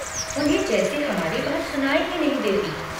उन्हें जैसे हमारी बात सुनाई ही नहीं देती।